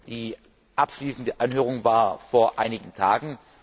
Die abschließende Anhörung war vor einigen Tagen.